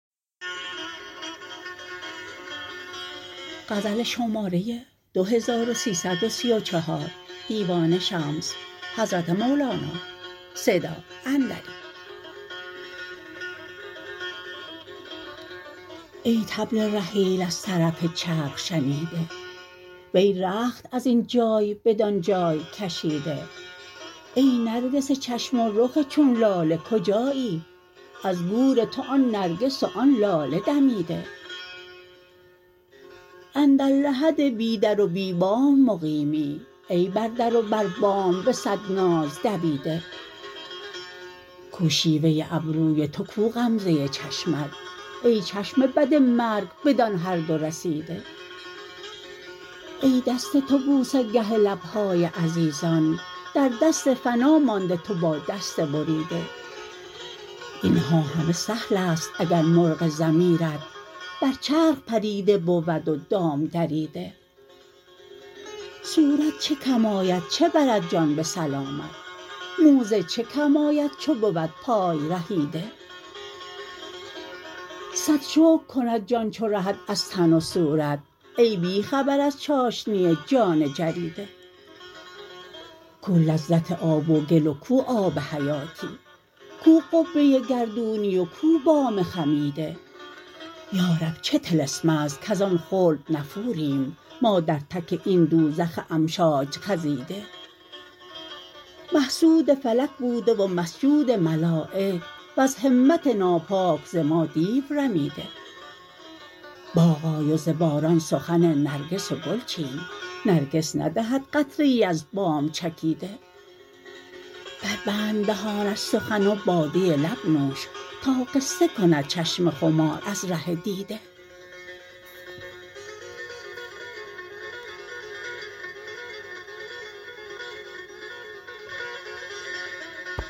ای طبل رحیل از طرف چرخ شنیده وی رخت از این جای بدان جای کشیده ای نرگس چشم و رخ چون لاله کجایی از گور تو آن نرگس و آن لاله دمیده اندر لحد بی در و بی بام مقیمی ای بر در و بر بام به صد ناز دویده کو شیوه ابروی تو کو غمزه چشمت ای چشم بد مرگ بدان هر دو رسیده ای دست تو بوسه گه لب های عزیزان در دست فنا مانده تو با دست بریده این ها همه سهل است اگر مرغ ضمیرت بر چرخ پریده بود و دام دریده صورت چه کم آید چه برد جان به سلامت موزه چه کم آید چو بود پای رهیده صد شکر کند جان چو رهد از تن و صورت ای بی خبر از چاشنی جان جریده کو لذت آب و گل و کو آب حیاتی کو قبه گردونی و کو بام خمیده یا رب چه طلسم است کز آن خلد نفوریم ما در تک این دوزخ امشاج خزیده محسود فلک بوده و مسجود ملایک وز همت ناپاک ز ما دیو رمیده باغ آی و ز باران سخن نرگس و گل چین نرگس ندهد قطره ای از بام چکیده بربند دهان از سخن و باده لب نوش تا قصه کند چشم خمار از ره دیده